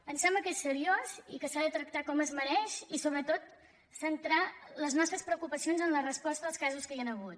ens sembla que és seriós i que s’ha de tractar com es mereix i sobretot centrar les nos·tres preocupacions en la resposta als casos que hi han hagut